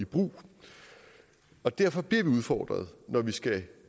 i brug og derfor bliver vi udfordret når vi skal